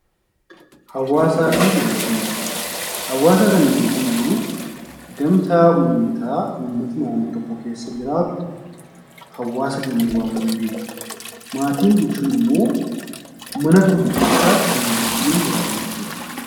Hawaasaa fi maatii: hawaasa kan nuyi jennu gamtaa uummataa, uummata naannoo tokko keessa jiraatu hawaasa jennee waamuu dandeenya. Maatii jechuun ammoo mana tokko keessa kan waliin jiraatan jechuudha.